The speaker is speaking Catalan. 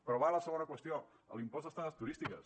però va la segona qüestió l’impost d’estades turístiques